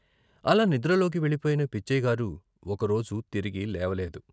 అలా నిద్రలోకి వెళ్ళిపోయిన పిచ్చయ్యగారు ఒకరోజు తిరిగి లేవలేదు.